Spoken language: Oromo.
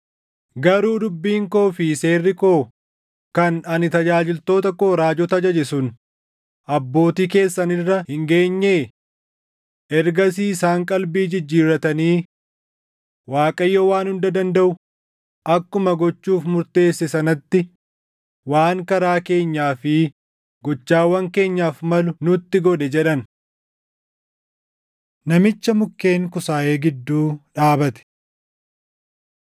Garuu dubbiin koo fi seerri koo kan ani tajaajiltoota koo raajota ajaje sun abbootii keessan irra hin geenyee? “Ergasii isaan qalbii jijjiirratanii, ‘ Waaqayyo Waan Hunda Dandaʼu akkuma gochuuf murteesse sanatti waan karaa keenyaa fi gochawwan keenyaaf malu nutti godhe’ jedhan.” Namicha Mukkeen Kusaayee Gidduu Dhaabate